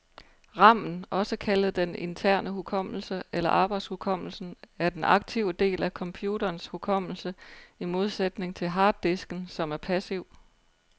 Ramen, også kaldet den interne hukommelse eller arbejdshukommelsen, er den aktive del af computerens hukommelse, i modsætning til harddisken, som er passiv.